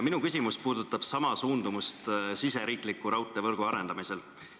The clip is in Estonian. Minu küsimus puudutab sama suundumust kogu riigisisese raudteevõrgu arendamisel.